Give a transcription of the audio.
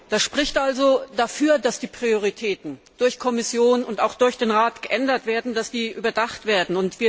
Das spricht also dafür, dass die Prioritäten durch die Kommission und auch durch den Rat geändert werden, dass sie überdacht werden.